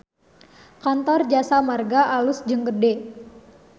Kantor Jasa Marga alus jeung gede